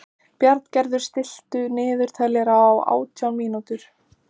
Bjarngerður, stilltu niðurteljara á átján mínútur.